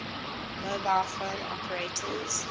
mobile phone operators